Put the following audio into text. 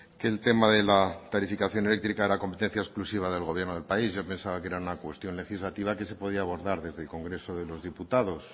que el tema de la tarificación eléctrica era competencia exclusiva del gobierno del país yo pensaba que era una cuestión legislativa que se podía abordar desde el congreso de los diputados